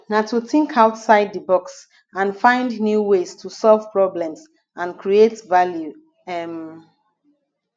na to think outside di box and find new ways to solve problems and create value um